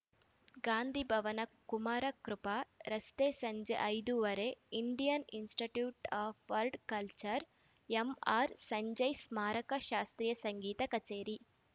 ಗಾಂಧಿ ಭವನ ಕುಮಾರಕೃಪಾ ರಸ್ತೆ ಸಂಜೆ ಐದು ವರೆ Indian institute of world culture M R Sanjay ಸ್ಮಾರಕ ಶಾಸ್ತ್ರೀಯ ಸಂಗೀತ ಕಛೇರಿ